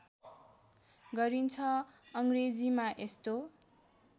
गरिन्छ अङ्ग्रेजीमा यस्तो